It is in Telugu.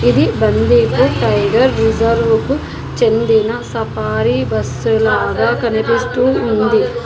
ఇది బండిపూర్ టైగర్ రిజర్వుకు చెందిన సఫారీ బస్సు లాగా కనిపిస్తూ ఉంది.